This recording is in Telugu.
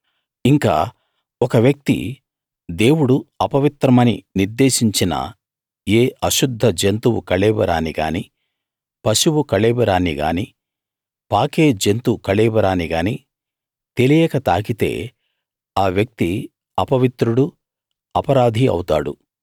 ఇంకా ఒక వ్యక్తి దేవుడు అపవిత్రమని నిర్దేశించిన ఏ అశుద్ధ జంతువు కళేబరాన్ని గానీ పశువు కళేబరాన్ని గానీ పాకే జంతు కళేబరాన్ని గానీ తెలియక తాకితే ఆ వ్యక్తి అపవిత్రుడూ అపరాధీ అవుతాడు